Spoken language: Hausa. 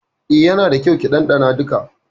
Eh, yana da kyau ki dandana duka.